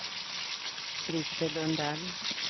Krister Lundell